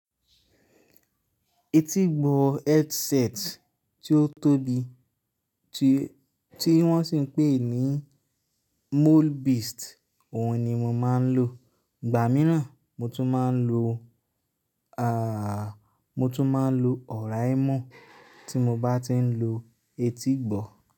Etígbọ headset tí ó tóbi tí wọ́n sì ń pè ní mole beast, òhun ni mo máa ń lò. Ìgbà míràn mo tún máa ń lò, ààh, mo tún máa ń lò Ọ̀raimo tí mo bá ti ń lo etígbọ.